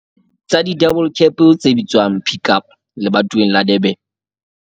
tsa di-double cab tse bitswang Pik Up lebatoweng la Durban.